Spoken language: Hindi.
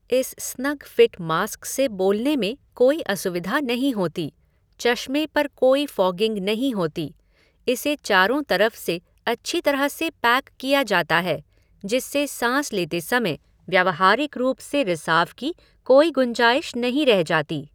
इस स्नग फ़िट मास्क से बोलने में कोई असुविधा नहीं होती, चश्मे पर कोई फ़ॉगिंग नहीं होती, इसे चारों तरफ से अच्छी तरह से पैक किया जाता है जिससे साँस लेते समय व्यावहारिक रूप से रिसाव की कोई गुंजाइश नहीं रह जाती।